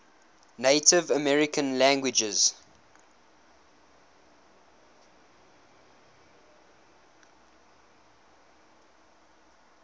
native american languages